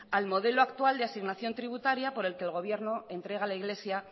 al modelo actual de asignación tributaria por el que el gobierno entrega a la iglesia